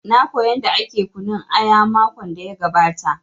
Na koya yanda ake kunun aya makon da ya gabata